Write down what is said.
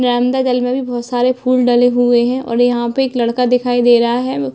यहाँ अंदर गले में बहोत सारे फूल डले हुए है और यहाँ पे एक लड़का दिखाई दे रहा है।